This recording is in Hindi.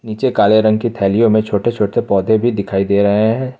नीचे काले रंग की थैलियां में छोटे छोटे पौधे भी दिखाई दे रहे हैं।